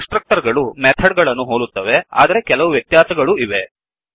ಕನ್ಸ್ ಟ್ರಕ್ಟರ್ ಗಳು ಮೆಥಡ್ ಗಳನ್ನು ಹೋಲುತ್ತವೆ ಆದರೆ ಕೆಲವು ವ್ಯತ್ಯಾಸಗಳೂ ಇವೆ